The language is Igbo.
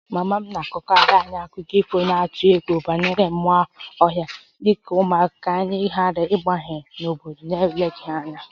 Mama m na-agwakarị anyị akụkọ ifo na-atụ egwu banyere mmụọ ọhịa dị ka ụmụaka ka anyị ghara ịwagharị n'obodo ahụ n'eleghị anya